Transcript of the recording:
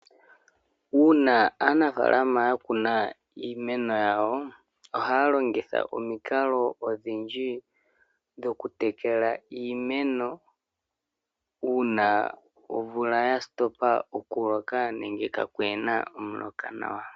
Uuna aanafaalama ya kuna iimeno yawo. Ohaya longitha omikalo odhindji dhoku tekela iimeno uuna omvula ya hulitha okuloka nenge kaakuna omuloka nawa.